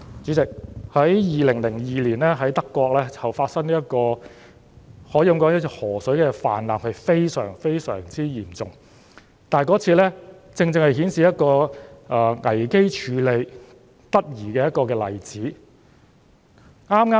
主席，在2002年，德國發生了非常嚴重的河水泛濫事件，而那正正是危機處理得宜的例子。